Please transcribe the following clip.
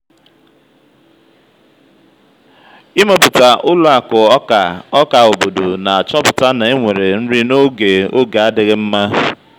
ịmepụta ụlọ akụ ọka ọka obodo na-achọpụta na enwere nri n'oge oge adịghị mma.